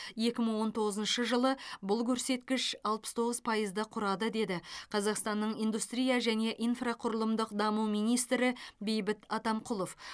екі мың он тоғызыншы жылы бұл көрсеткіш алпыс тоғыз пайызды құрады деді қазақстанның индустрия және инфрақұрылымдық даму министрі бейбіт атамқұлов